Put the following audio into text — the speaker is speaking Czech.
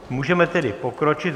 Můžeme tedy pokročit.